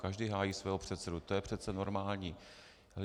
Každý hájí svého předsedu, to je přece normální.